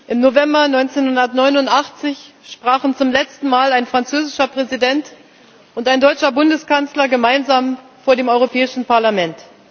Im November 1989 sprachen zum letzten Mal ein französischer Präsident und ein deutscher Bundeskanzler gemeinsam vor dem Europäischen Parlament.